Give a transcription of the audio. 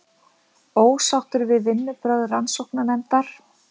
Ósáttur við vinnubrögð rannsóknarnefndar